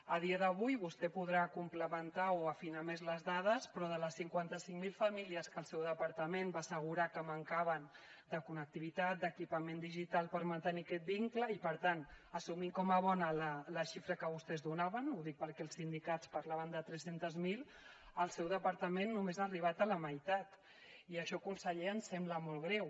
a dia d’avui vostè podrà complementar o afinar més les dades però de les cinquanta cinc mil famílies que el seu departament va assegurar que mancaven de connectivitat d’equipament digital per mantenir aquest vincle i per tant assumint com a bona la xifra que vostès donaven ho dic perquè els sindicats parlaven de tres cents miler el seu departament només ha arribat a la meitat i això conseller ens sembla molt greu